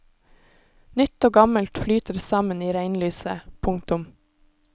Nytt og gammelt flyter sammen i regnlyset. punktum